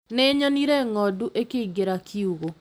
Nĩnyonire ng'ondu ikĩingĩra kiugo